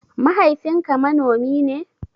Mahaifin ka manomi ne?